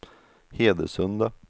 Hedesunda